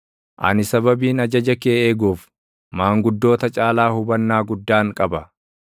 Ani sababiin ajaja kee eeguuf, maanguddoota caalaa hubannaa guddaan qaba.